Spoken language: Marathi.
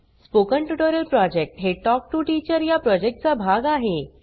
स्पोकन ट्युटोरियल प्रॉजेक्ट हे टॉक टू टीचर या प्रॉजेक्टचा भाग आहे